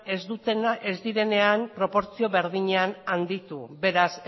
ez direnean proportzio berdinean handitu beraz